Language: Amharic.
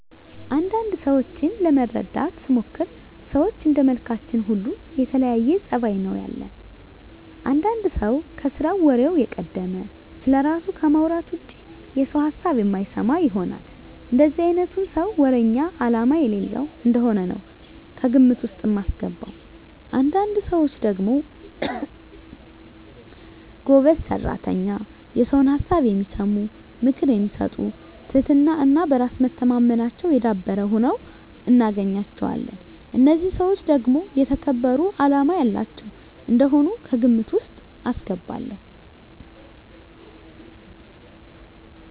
አንዳንድ ሰዎችን ለመረዳት ስሞክር ሰዎች እንደመልካችን ሁሉ የተለያየ ፀባይ ነው ያለን። አንዳንድ ሰው ከስራው ወሬው የቀደመ፣ ስለራሱ ከማውራት ውጭ የሰውን ሀሳብ የማይሰማ ይሆናል። እንደዚህ አይነቱን ሰው ወረኛ አላማ የሌለው እንደሆነ ነው ከግምት ውስጥ ማስገባው። አንዳንድ ሰዎች ደግሞ ጎበዝ ሰራተኛ፣ የሰውን ሀሳብ የሚሰሙ፣ ምክር የሚሰጡ ትህትና እና በራስ መተማመናቸው የዳበረ ሁነው እናገኛቸዋለን። እነዚህን ሰዎች ደግሞ የተከበሩ አላማ ያላቸው እንደሆኑ ከግምት ውስጥ አስገባለሁ።